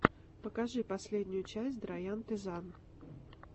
покажи последнюю часть драянте зан